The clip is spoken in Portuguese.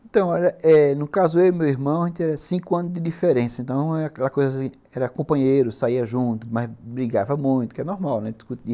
Então, eh eh, no caso eu e meu irmão, a gente era cinco anos de diferença, então era aquela coisa, era companheiro, saía junto, mas brigava muito, que é normal, né?